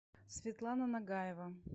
светлана нагаева